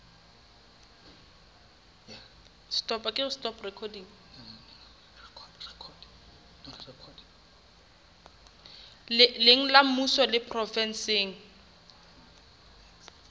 leng la mmuso le provenseng